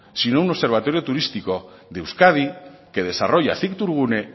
sino un observatorio turístico de euskadi que desarrolla cictourgune